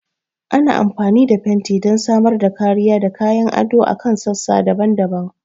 Ana amfani da fenti don samar da kariya da kayan ado a kan sassa daban-daban.